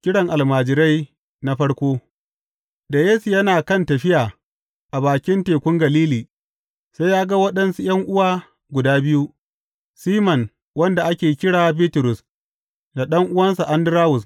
Kiran almajirai na farko Da Yesu yana kan tafiya a bakin Tekun Galili, sai ya ga waɗansu ’yan’uwa guda biyu, Siman wanda ake kira Bitrus da ɗan’uwansa Andarawus.